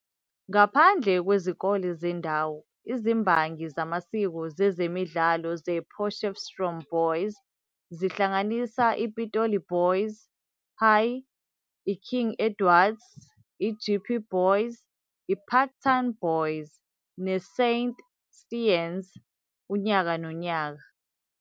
Ngaphandle kwezikole zendawo izimbangi zamasiko zezemidlalo zePotchefstroom Boys, zihlanganisa iPitoli Boys High, iKing Edwards, iJeppe Boys, iParktown Boys, neSaint Stithians unyaka nonyaka.